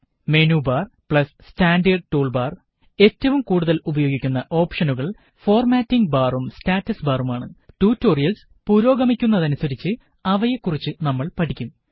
menu bar standard tool bar ഏറ്റവും കൂടുതല് ഉപയോഗിക്കുന്ന ഓപ്ഷനുകള് ഫോര്മാറ്റിംഗ് ബാറും സ്റ്റാറ്റസ് ബാറുമാണ് ട്യൂട്ടോറിയല്സ് പുരോഗമിക്കുന്നതനുസരിച്ച് അവയെ കുറിച്ച് നമ്മള് പഠിക്കും